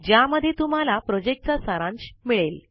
ज्यामध्ये तुम्हाला प्रोजेक्ट चा सारांश मिळेल